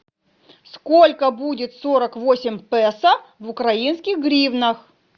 сколько будет сорок восемь песо в украинских гривнах